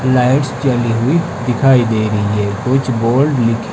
lights जली हुई दिखाई दे रही है कुछ बोर्ड ली --